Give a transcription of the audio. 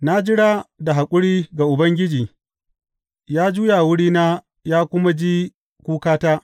Na jira da haƙuri ga Ubangiji; ya juya wurina ya kuma ji kukata.